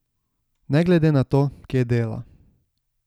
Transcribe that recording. Ne glede na to, kje dela.